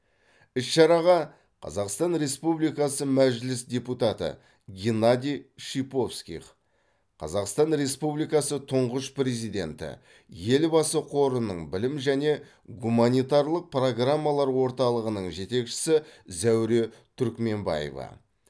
іс шараға қазақстан республикасы мәжіліс депутаты геннадий шиповских қазақстан республикасы тұңғыш президенті елбасы қорының білім және гуманитарлық программалар орталығының жетекшісі зәуре түркменбаева